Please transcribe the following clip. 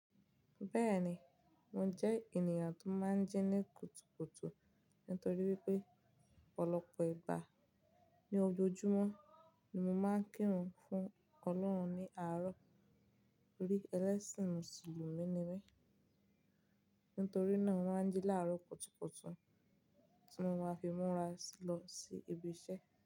Bẹ́ẹ̀ni, mo jẹ́ ènìyàn tó máa ń jí ní kùtùkùtù nítorí wípé ọ̀pọ̀lọpọ̀ ìgbà ní ojoojúmọ́ ni mo máa ń kírun fún Ọlọ́run ní àárọ̀ tórí ẹlẹ́sìn mùsùlùmí mi. Nítorí náà, mo máa ń jí láárọ̀ kùtùkùtù tí mo máa fi múra lọ sí ibi iṣẹ́.